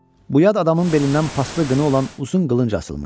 Bu yad adamın belindən paslı qını olan uzun qılınc asılmışdı.